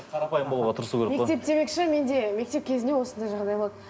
қарапайым болуға тырысу керек қой мектеп демекші менде мектеп кезінде осындай жағдай болды